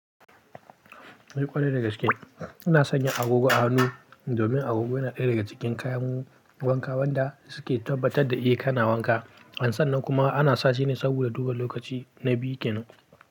Eh ƙwarai da gaske, ina sanya agogo a hannu domin agogo yana ɗaya daga cikin kayan wanka wanda suke tabbatar da eh kana wanka. An san nan kuma ana sashi ne saboda duba lokaci, na biyu kenan.